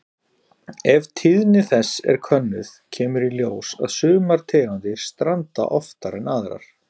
Ef tíðni þess er könnuð kemur í ljós að sumar tegundir stranda oftar en aðrar.